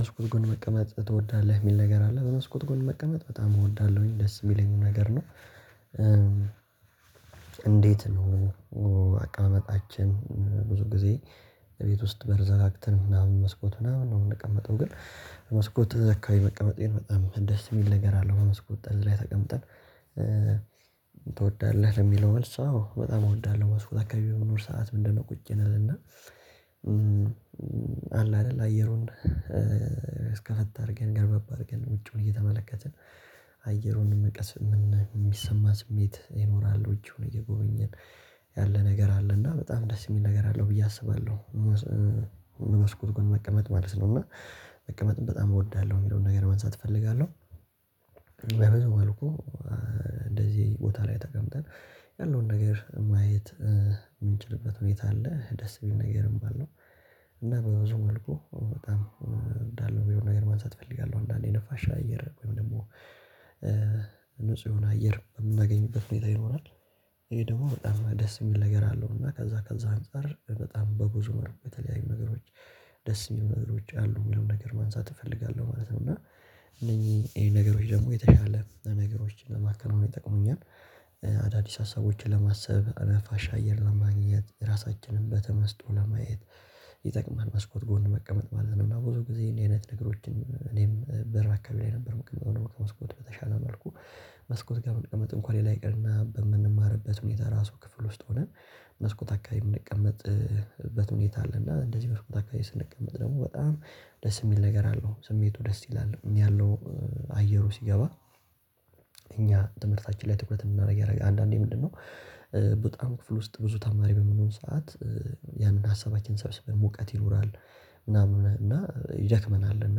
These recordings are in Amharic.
መስኮት ጎን መቀመጥ ትወዳለህ የሚል ነገር አለ መስኮት ጎን መቀመጥ በጣም እወዳለሁኝ ደስ የሚለኝ ነገር ነው እንዴት ነው አቀመጣችን ብዙ ጊዜ ቤት ውስጥ በር ዘጋግተን ምናምን መስኮት ምናምን ነው የምንቀመጠው ግን መስኮት አስካባቢ መቀመጤን በጣም ደስ የሚል ነገር አለው መስኮት ጠልዝ ላይ ተቀምጠን ትወዳለህ የሚለው መልስ አዎ በጣም እወዳለሁ መስኮት አካባቢ በምኖር ሰዓት ምንድነው ቁጭ እልና እና አለ አይደል አየሩን እስከፈት አድርገን ገረበብ አድርገን ውጪውን እየተመለከትን አየሩን የሚሰማ ስሜት ይኖራል ደጁን እየጎበኘን ያለ ነገር አለ እና በጣም ደስ የሚል ነገር አለው ብዬ አስባለሁ በመስኮት ጎን መቀመጥ ማለት ነው እና መቀመጥን በጣም እወዳለሁ የሚለውን ነገር ማንሳት እፈልጋለሁ በብዙ መልኩ እንደዚህ ቦታ ላይ ተቀምጠህ ያለውን ነገር ማየት ምንችልበት ሁኔታ አለ ደስ የሚል ነገርም አለው እና በብዙ መልኩ በጣም እንዳለው የሆነ ነገር ማንሳት እፈልጋለሁ አንዳንዴ ነፋሻ አየር ወይም ደግሞ ንጹህ የሆነ አየር የምናገኝበት ሁኔታ ይኖራል? ይሄ ደግሞ በጣም ደስ የሚል ነገር አለው እና ከዛ ከዛ አንፃር በጣም በብዙ መልኩ በተለያዩ ነገሮች ደስ የሚሉ ነገሮች አሉ የሚለውን ነገር ማንሳት እፈልጋለሁ ማለት ነው እና እነኚህ ይሄ ነገሮች ደግሞ የተሻለ ነገሮችን ለማከናወን ይጠቅሙኛል አዳዲስ ሀሳቦችን ለማሰብ ነፋሻ አየር ለማግኘት ራሳችንን በተመስጦ ለማየት ይጠቅማል መስኮት ጎን መቀመጥ ማለት ነው ብዙ ጊዜ እኔ አይነት ነገሮችን እኔም በር አካባቢ ላይ ነበር መቅመር ከመስኮት በተሻለ መልኩ መስኮት ጋር መቀመጥ እንኳን ሌላ ይቅርና በምንማርበት ሁኔታ ራሱ ክፍል ውስጥ ሆነን መስኮት አካባቢ የምንቀመጥበት ሁኔታ አለ እና እንደዚህ መስኮት አካባቢ ስንቀመጥ ደግሞ በጣም ደስ የሚል ነገር አለው ስሜቱ ደስ ይላል ያለው አየሩ ሲገባ እኛ ትምህርታችን ላይ ትኩረት እንድናደርግ ያደርገናል አንዳንዴ ምንድነው በጣም ክፍል ውስጥ ብዙ ተማሪ የሚሆን ሰዓት ያንን ሀሳባችን ሰብስበን ሙቀት ይኖራል ምናምን እና ይደክመናል እና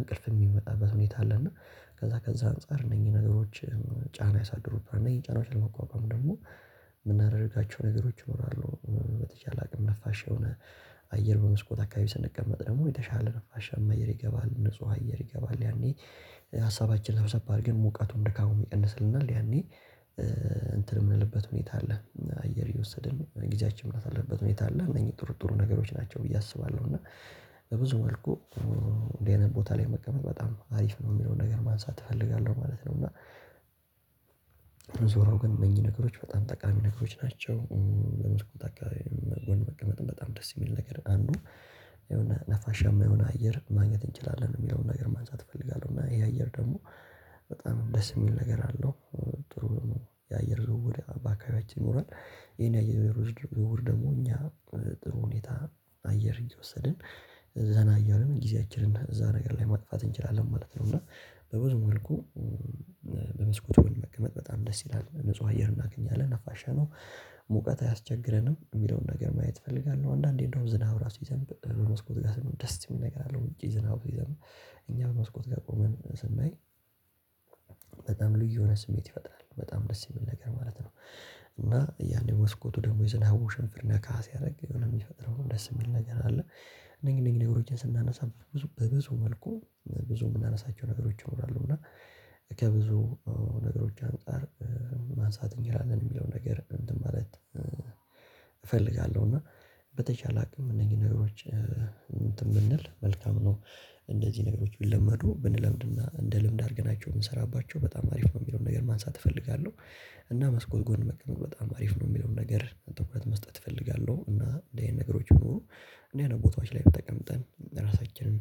እንቅልፍ የሚመጣበት ሁኔታ አለና ከዛ ከዛ አንፃር እነዚህ ነገሮች ጫና ያሳድሩት እነኚህ ጫናዎችን ለመቋቋም ደግሞ የምናደርጋቸው ነገሮች ይኖራሉ በተቻለ አቅም ነፋሻ የሆነ አየር በመስኮት አካባቢ ስንቀመጥ ደግሞ የተሻለ ነፋሻ አየር ይገባል ንጹህ አየር ይገባል ያኔ ሀሳባችን ሰብሰብ አድርገን ሙቀቱም ድካሙም ይቀንስልናል ያኔ እንትን የምንልበት ሁኔታ አለ አየር እየወሰድን ጊዜያችን የምናሳልፍበት ሁኔታ አለ እነዚህ ጥርጥሩ ነገሮች ናቸው ብዬ አስባለሁ እና በብዙ መልኩ እንደዚህ ቦታ ላይ መቀመጥ በጣም አሪፍ ነው የሚለውን ነገር ማንሳት እፈልጋለሁ ማለት ነው እና ዞሮ ግን እነኚህ ነገሮች በጣም ጠቃሚ ነገሮች ናቸው የመስኮት አቀመጥ ቀመጥ በጣም ደስ የሚል ነገር አንዱ የሆነ ነፋሻማ የሆነ አየር ማግኘት እንችላለን የሚለውን ነገር ማንሳት እፈልጋለሁ እና ይሄ አየር ደግሞ በጣም ደስ የሚል ነገር አለው ጥሩ የአየር ዝውውር በአባካቢያችን ይኖራል ይሄን የአየር ዝውውር ደግሞ እኛ ጥሩ ሁኔታ አየር እየወሰድን ዘና እያልን ጊዜያችንን እዛ ነገር ላይ ማጥፋት እንችላለን ማለት ነው እና በብዙ መልኩ በመስኮቱ ምን መቀመጥ በጣም ደስ ይላል ንጹህ አየር እናገኛለን ነፋሻ ነው ሙቀት አያስቸግረንም የሚለውን ነገር ማየት እፈልጋለሁ አንዳንዴ እንደውም ዝናብ ራሱ ይዘን በመስኮት ጋር ደስ የሚል ነገር አለው ውጪ ዝናብ ሲዘንብ እኛ በመስኮት ጋር ቆመን ስሜ በጣም ልዩ የሆነ ስሜት ይፈጥራል በጣም ደስ የሚል ነገር ማለት ነው እና ያኔ መስኮቱ ደግሞ የዝናቡ ውሽንፍር ነካ ሲያደርግ የሚፈጥረው ደስ የሚል ነገር አለ እንደኛ እነኝህን ነገሮችን ስናነሳ ብዙ በብዙ መልኩ ብዙ የምናነሳቸው ነገሮች እኖራለሁ እና ከብዙ ነገሮች አንፃር ማንሳት እንችላለን የሚለው ነገር እንትን ማለት እፈልጋለሁ እና በተቻለ አቅም እነዚህ ነገሮች እንትን ብንል መልካም ነው እንደዚህ ነገሮች ቢለመዱ ብንለምድና እንደ ልምድ አድርገናቸው ብንሰራባቸው በጣም አሪፍ ነው የሚለውን ነገር ማንሳት እፈልጋለሁ እና መስኮት ጎን መቀመጥ በጣም አሪፍ ነው የሚለውን ነገር ትኩረት መስጠት እፈልጋለሁ እና እንደዚህ ነገሮች ቢኖሩ እንደዚህ አይነት ቦታዎች ላይ ተቀምጠን ራሳችንን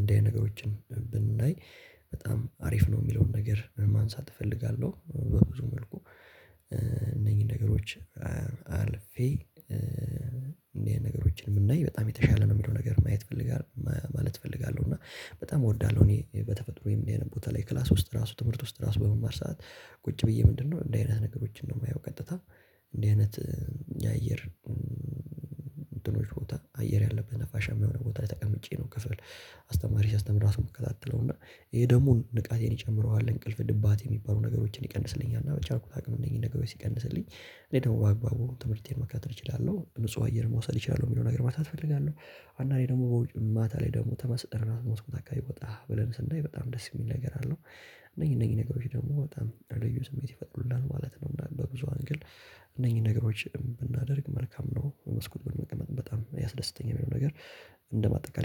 እንደዚህ አይነት ነገሮችን ብናይ በጣም አሪፍ ነው የሚለውን ነገር ማንሳት እፈልጋለሁ በብዙ መልኩ እነኚህን ነገሮች አልፌ እንደዚህ ነገሮችን ብናይ በጣም የተሻለ ነው የምለው ነገር ማየት እፈልጋለሁ ማለት እፈልጋለሁ እና በጣም እወዳለሁ እኔ በተፈጥሮዬ ቦታ ላይ ክላስ ውስጥ ራሱ ትምህርት ውስጥ ራሱ በመማር ሰዓት ቁጭ ብዬ ምንድነው እንዲህ አይነት ነገሮችን ነው የማየው ቀጥታ እንደዚህ አይነት የአየር ድኖች ቦታ አየር ያለበት ነፋሻ የሚሆነው ቦታ ላይ ተቀምጬ ነው ክፍል አስተማሪ ሲያስተምር ራሱ የምከታተለው እና ይሄ ደግሞ ንቃቴን ይጨምረዋል እንቅልፍ ድባቴ የሚባሉ ነገሮችን ይቀንስልኛል እና በቻልኩት አቅም እነዚህን ነገሮች ሲቀንስልኝ እኔ ደግሞ በአግባቡ ትምህርቴን መከታተል እችላለሁ ንጹህ አየር መውሰድ እችላለሁ የሚለውን ነገር ማንሳት እፈልጋለሁ አንዳንዴ ደግሞ በውጭ ማታ ላይ ደግሞ ተመስጠህ ራስ መስኮት አካባቢ ወጣ ብለን ስናይ በጣም ደስ የሚል ነገር አለው እነኚህ እነኚህ ነገሮች ደግሞ በጣም ልዩ ስሜት ይፈጥሩልናል ማለት ነው በብዙ አንግል እነኚህን ነገሮች ብናደርግ መልካም ነው መስኮት በጣም ያስደስተኛል የሚለው ነገር እንደማጠቃለያ